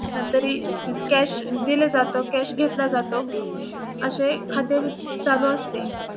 तरी कॅश दिले जातो कॅश घेतला जातो असे खाते चालू असते.